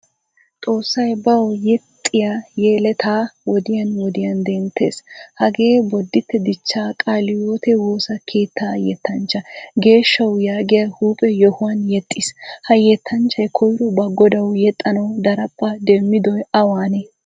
Xoossay bawu yexxiya yeleta wodiyan wodiyan denttees. Hagee bodite dichcha qaalaydeo woosa keetta yettanchcha. Geeshshawu yaagiya huuphphe yoohuwan yeexiis. Ha yeettanchchay koyro ba godawu yeexanawu daraphpha demmidoy awanne?